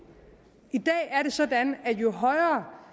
i dag er det sådan at jo højere